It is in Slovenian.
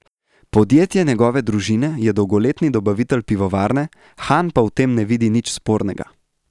Podjetje njegove družine je dolgoletni dobavitelj pivovarne, Han pa v tem ne vidi nič spornega.